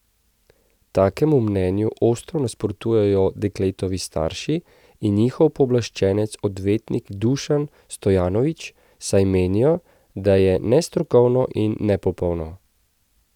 Takemu mnenju ostro nasprotujejo dekletovi starši in njihov pooblaščenec odvetnik Dušan Stojanović, saj menijo, da je nestrokovno in nepopolno.